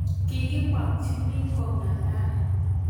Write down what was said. kikimakchini kong'alal